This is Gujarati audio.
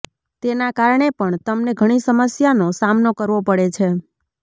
તેના કારણે પણ તમને ઘણી સમસ્યાનો સામનો કરવો પડે છે